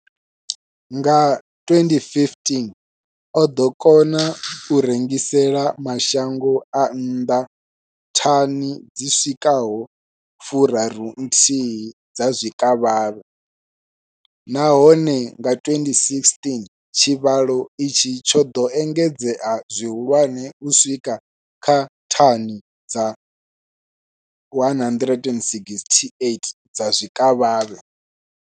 Nga 2015, o ḓo kona u rengisela mashango a nnḓa thani dzi swikaho 31 dza zwikavhavhe, nahone nga 2016 tshivhalo itshi tsho ḓo engedzea zwihulwane u swika kha thani dza 168 dza zwikavhavhe.